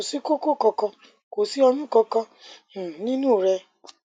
kò sí koko kankan kò sí oyun kankan um nínú rẹ